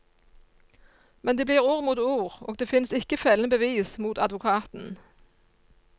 Men det blir ord mot ord, og det finnes ikke fellende bevis mot advokaten.